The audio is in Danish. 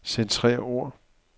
Centrer ord.